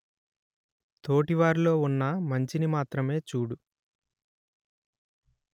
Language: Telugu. తోటివారిలో ఉన్న మంచిని మాత్రమే చూడు